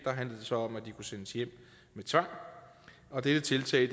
så om at de kunne sendes hjem med tvang og dette tiltag